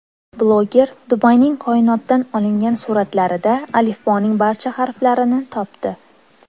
Bloger Dubayning koinotdan olingan suratlarida alifboning barcha harflarini topdi .